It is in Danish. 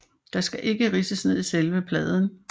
Der skal ikke ridses ned i selve pladen